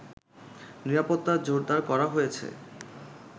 নিরাপত্তা জোরদার করা হয়েছে